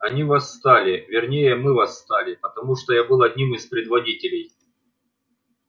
они восстали вернее мы восстали потому что я был одним из предводителей